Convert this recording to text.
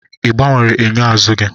Ị gbanwere enyo azụ gị?